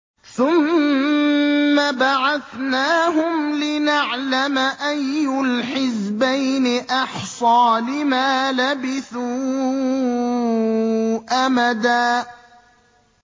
ثُمَّ بَعَثْنَاهُمْ لِنَعْلَمَ أَيُّ الْحِزْبَيْنِ أَحْصَىٰ لِمَا لَبِثُوا أَمَدًا